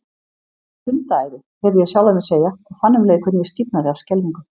Hundaæði, heyrði ég sjálfan mig segja, og fann um leið hvernig ég stífnaði af skelfingu.